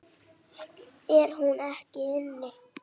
Er hún ekki inni?